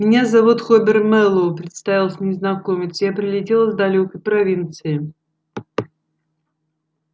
меня зовут хобер мэллоу представился незнакомец я прилетел из далёкой провинции